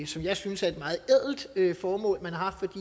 som jeg synes er et meget ædelt formål man har